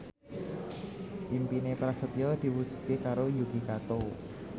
impine Prasetyo diwujudke karo Yuki Kato